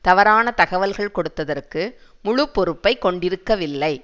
தவறான தகவல்கள் கொடுத்ததற்கு முழு பொறுப்பை கொண்டிருக்கவில்லை